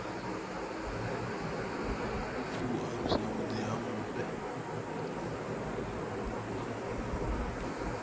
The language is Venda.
u alusa vhuḓi ha mufhe